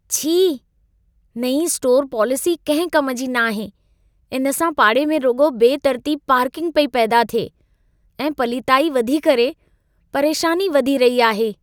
छी! नईं स्टोरु पॉलिसी कंहिं कम जी न आहे। इन सां पाड़े में रुॻो बेतरतीब पार्किंग पेई पैदा थिए ऐं पलीताई वधी करे परेशानी वधी रही आहे।